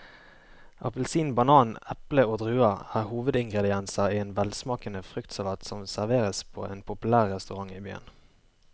Appelsin, banan, eple og druer er hovedingredienser i en velsmakende fruktsalat som serveres på en populær restaurant i byen.